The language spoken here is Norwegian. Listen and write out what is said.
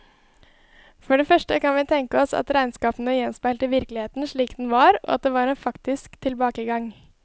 For det første kan vi tenke oss at regnskapene gjenspeilte virkeligheten slik den var, og at det var en faktisk tilbakegang.